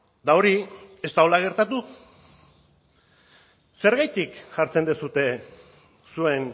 eta hori ez da horrela gertatu zergatik jartzen duzue zuen